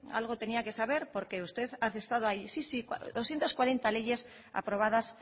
algo tenía que saber porque usted ha estado ahí sí sí doscientos cuarenta leyes aprobadas